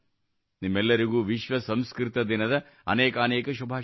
ನಿಮಗೆಲ್ಲರಿಗೂ ವಿಶ್ವ ಸಂಸ್ಕೃತ ದಿನದ ಅನೇಕಾನೇಕ ಶುಭಾಶಯಗಳು